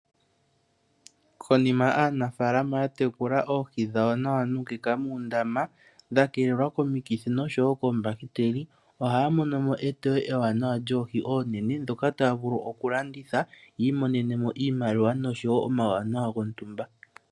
Konima aanafaalama ya tekula oohi dhawo nawa nuukeka muundama dha keelelwa komikithi oshowo koombahiteli, ohaa mono mo eteyo ewaanawa lyoohi oonene dhoka taya vulu oku landitha yi imonenemo iimaliwa noshowo omauwanawa gontumba.